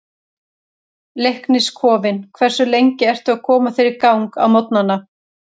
Leiknis kofinn Hversu lengi ertu að koma þér í gang á morgnanna?